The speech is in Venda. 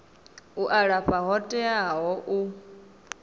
u alafha yo teaho u